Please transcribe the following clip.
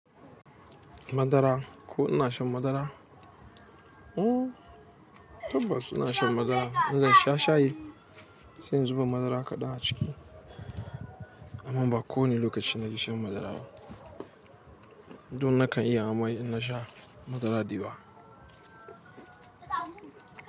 Madara, ko ina shan madara? Ooh, tabbas ina shan madara. In zan sha shayi sai in zuba madara kaɗan a ciki. Ooh, tabbas ina shan madara. Inmzan sha shayi sai in zuba madara kaɗan a ciki. Duk nakan iyawa ma in nasha madara da yawa.